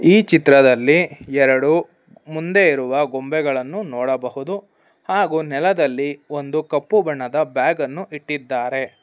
ಈ ಚಿತ್ರದಲ್ಲಿ ಎರಡು ಮುಂದೆ ಇರುವ ಗೊಂಬೆಗಳನು ನೋಡಬಹುದು ಹಾಗೂ ನೆಲದಲ್ಲಿ ಕಪ್ಪು ಬಣ್ಣದ ಬ್ಯಾಗ್ ಅನ್ನು ಇಟ್ಟಿದ್ದಾರೆ.